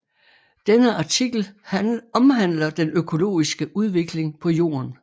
Denne artikel omhandler den økologiske udvikling på Jorden